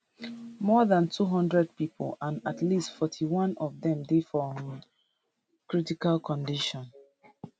more dan 200 pipo and at least 41 of dem dey for um critical condition